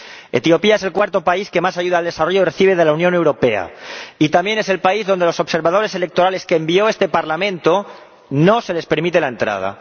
Etiopía es el cuarto país que más ayuda al desarrollo recibe de la Unión Europea y también es el país donde a los observadores electorales que envió este Parlamento no se les permite la entrada